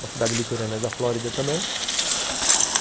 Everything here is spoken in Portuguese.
Uma cidade litorânea da Flórida também.